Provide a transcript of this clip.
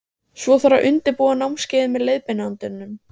Svo þarf að undirbúa námskeiðið með leiðbeinandanum.